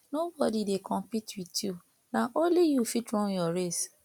no bodi dey compete wit yu na only yu go fit run yur race